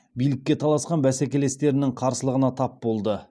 билікке таласқан бәсекелестерінің қарсылығына тап болды